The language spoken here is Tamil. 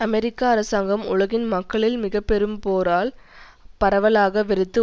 அமெரிக்க அரசாங்கம் உலகின் மக்களில் மிக பெரும் போரால் பரவலாக வெறுத்து